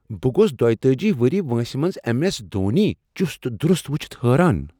بہٕ گوٚوس دۄتأجی وریہہ وٲنٛسہ منٛز ایم ایس دھونی چٗست دٗرٗست وٗچھتھ حٲران